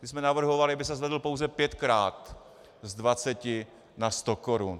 My jsme navrhovali, aby se zvedl pouze pětkrát, z 20 na 100 korun.